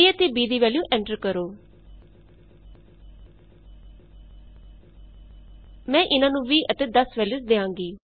a ਅਤੇ b ਦੀ value enter ਕਰੋ160ਐਂਟਰ the value of A and ਬੀਮੈਂ ਇਹਨਾਂ ਨੂੰ 20 ਅਤੇ 10 ਵੈਲਯੂਸ ਦਿਆਂਗੀ